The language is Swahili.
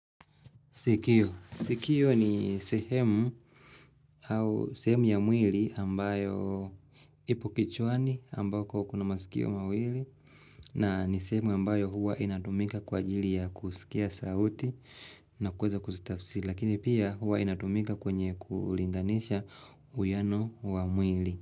Sikio ni sehemu ya mwili ambayo ipo kichwani ambayo kwa kuna masikio mwili na ni sehemu ambayo huwa inatumika kwa jili ya kusikia sauti na kweza kustafsi lakini pia huwa inatumika kwenye kulinganisha uyano wa mwili.